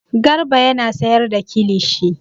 Garba yana sayar da kilishi.